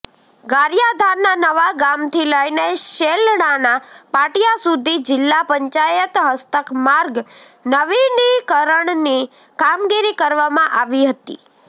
ગારિયાધારના નવાગામથી લઈને શેલણાના પાટિયા સુધી જિલ્લા પંચાયત હસ્તક માર્ગ નવિનીકરણની કામગીરી કરવામાં આવી હતી